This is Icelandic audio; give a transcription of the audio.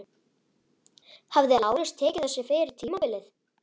Hefði Lárus tekið þessu fyrir tímabilið?